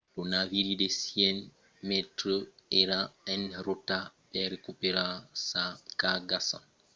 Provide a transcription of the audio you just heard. lo naviri de 100 mètres èra en rota per recuperar sa cargason d'engrais abituala e las autoritats avián paur inicialament que lo naviri ne versèsse una carga